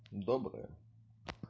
доброе